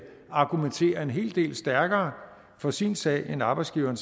argumentere en hel del stærkere for sin sag end arbejdsgiveren